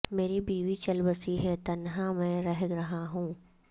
مری بیوی چل بسی ہے تنہا میں رہ رہا ہوں